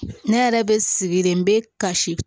Ne yɛrɛ bɛ sigi de bɛ kasi